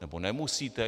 Nebo nemusíte?